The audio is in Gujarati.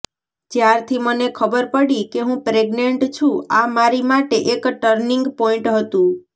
જ્યારથી મને ખબર પડી કે હું પ્રેગ્નેંટ છું આ મારી માટે એક ટર્નિંગ પોઇન્ટ હતું